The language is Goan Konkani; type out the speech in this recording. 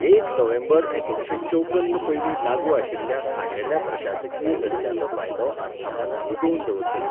एक नोव्हेंबर एकुणशे चौपन्न पयलीं लागू आशिल्ल्या खाशेल्या प्रशासकीय दर्ज्याचो फायदो आस्थापनां तिगोवन दवरतलीं.